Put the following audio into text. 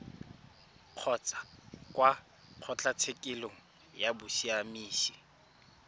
kgotsa kwa kgotlatshekelo ya bosiamisi